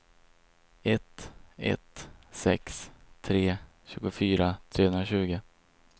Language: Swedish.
ett ett sex tre tjugofyra trehundratjugo